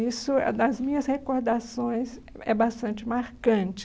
Isso, é nas minhas recordações, é bastante marcante.